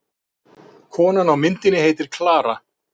Konan á myndinni heitir Klara.